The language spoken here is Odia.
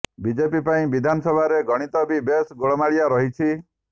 ବିଜେପି ପାଇଁ ବିଧାନସଭାର ଗଣିତ ବି ବେଶ ଗୋଳମାଳିଆ ରହିଛି